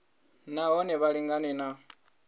na hone vha lingane na